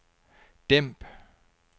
dæmp